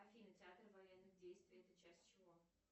афина театр военных действий это часть чего